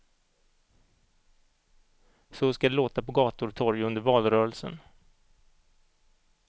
Så skall det låta på gator och torg under valrörelsen.